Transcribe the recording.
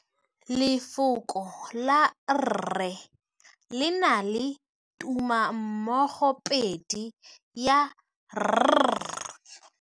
Lefoko la rre le na le tumammogôpedi ya, r.